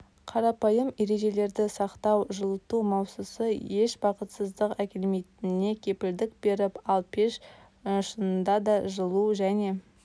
қарапайым ережелерді сақтау жылыту маусысы еш бақытсыздық әкелмейтініне кепілдік беріп ал пеш шфнфнда да жылу және